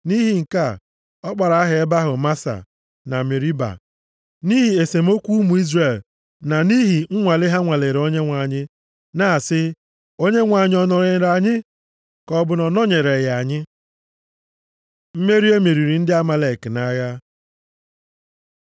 Nʼihi nke a, ọ kpọrọ aha ebe ahụ Masa na Meriba nʼihi esemokwu ụmụ Izrel na nʼihi nwale ha nwalere Onyenwe anyị, na-asị, “ Onyenwe anyị ọ nọnyeere anyị, ka ọ bụ na ọ nọnyereghị anyị?” Mmeri e meriri ndị Amalek nʼagha